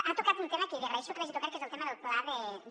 ha tocat un tema que li agraeixo que l’hagi tocat que és el tema del pla de